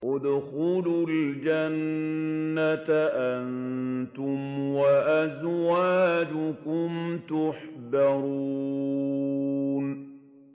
ادْخُلُوا الْجَنَّةَ أَنتُمْ وَأَزْوَاجُكُمْ تُحْبَرُونَ